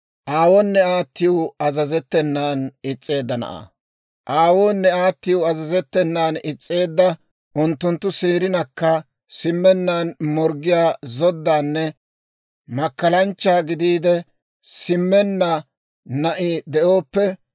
«Aawoonne aatiw azazettenan is's'eedda, unttunttu seerinakka simmenna morggiyaa zoddaanne makkalanchcha gidiide simmenna na'i de'ooppe,